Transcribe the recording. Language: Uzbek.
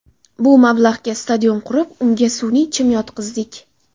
Bu mablag‘ga stadion qurib, unga sun’iy chim yotqizdik.